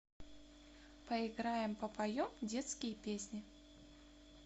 поиграем попоем детские песни